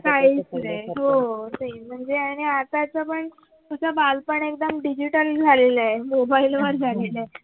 काहीच नाही हो तेच हो म्हणजे आणि आताच पण आता बालपण एकदम digital झालेल आहे mobile वर झालेल आहे